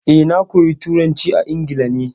Eh, na koya turanci a Ingila ne.